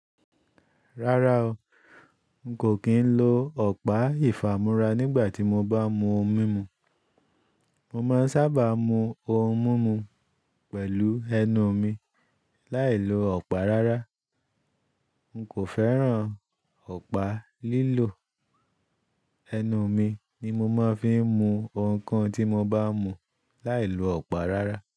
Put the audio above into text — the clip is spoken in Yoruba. Rárá o, n kò kí ń lo ọ̀pá ìfàmúrá nígbà tí mo bá mú ohun mímu. Mo má ń sábà mú ohun mímu pẹ̀lú ẹnu mi láìlo ọ̀pá rárá. N kò fẹ́ràn ọ̀pá lílò, ẹnu mi ni mo máa ń fi mu ohunkohun tí mo bá mú láìlo ọ̀pá rárá.